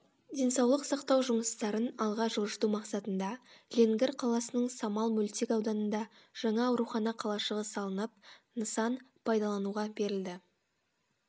денсаулық сақтау жұмыстарын алға жылжыту мақсатында ленгір қаласының самал мөлтек ауданында жаңа аурухана қалашығы салынып нысан пайдалануға берілді